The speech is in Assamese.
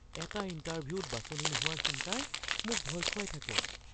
এটা ইণ্টাৰভিউত বাছনি নোহোৱাৰ চিন্তাই মোক ভয়ত খুৱাই থাকে।